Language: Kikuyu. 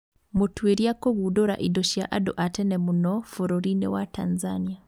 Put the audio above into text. Mũtuĩria kũgundũra indo cia andũ a tene mũno bũrũri-inĩ wa Tanzania